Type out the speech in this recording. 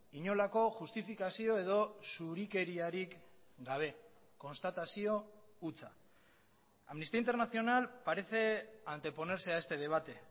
inolako justifikazio edo zurikeriarik gabe konstatazio hutsa amnistía internacional parece anteponerse a este debate